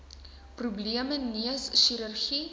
probleme neus chirurgie